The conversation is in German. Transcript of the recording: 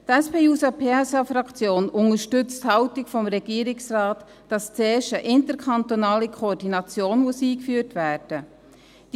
Die SP-JUSO-PSA-Fraktion unterstützt die Haltung des Regierungsrates, dass zuerst eine interkantonale Koordination eingeführt werden muss.